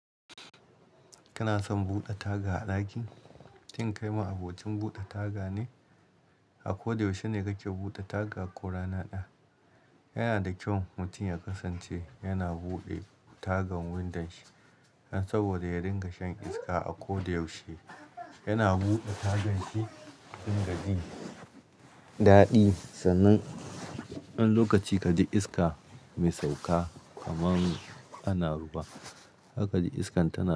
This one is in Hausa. Kana son bude taga a daki? Cin kai ma abocin bude taga ne? A ko da yaushe ne kake bude taga ko rana daya? Yana da kyau mutum ya kasance yana bude tagan windon shi saboda ya dinga shan iska a ko da yaushe. Yana bude tagan shi dinga ji dadi sannan wani lokaci kaji iska mai sauka kamar ana ruwa. Haka kaji iskan tana da.